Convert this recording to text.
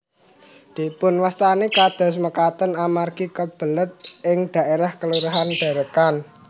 Dipunwastani kados makaten amargi kalebet ing dhaérah Kelurahan Derekan